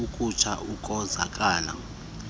ukutsha ukonzakala entloko